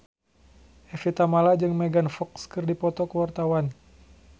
Evie Tamala jeung Megan Fox keur dipoto ku wartawan